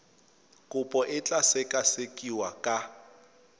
kopo e tla sekasekiwa ka